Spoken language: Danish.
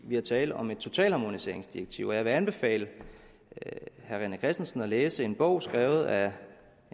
vi taler om et totalharmoniseringsdirektiv og jeg vil anbefale herre rené christensen at læse en bog skrevet af